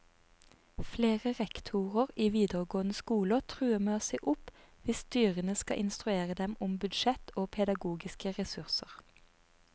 Flere rektorer i videregående skoler truer med å si opp hvis styrene skal instruere dem om budsjett og pedagogiske ressurser.